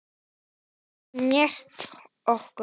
Enginn gat snert okkur.